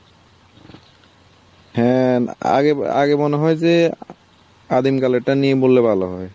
হ্যাঁ আগে আগে মনে হয় যে, আদিম কালেরটা নিয়ে বললে ভালো হয়।